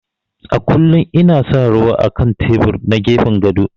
A kullum ina sa ruwa á kan tebur na gefen gado.